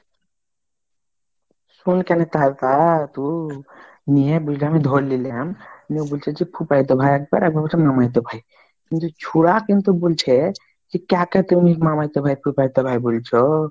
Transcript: শোন কেনে তা তু নিয়ে বলছে আমি ধরে লিলাম নিয়ে বুলছেজি ফুফাইতো ভাই একবার, এবার বলছে মামাইতো ভাই কিন্তু ছুঁড়া কিন্তু বলছে, যে কাকাইতো ভাই মামাইতো ভাই ফুফাত ভাই বুলছো?